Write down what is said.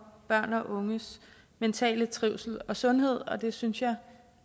børn og unges mentale trivsel og sundhed og det synes jeg